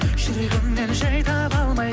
жүрегіңнен жай таба алмай